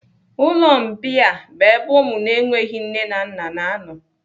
Ụlọ mbìa bụ ebe ụmụ na-enweghị nne na nna na anọ.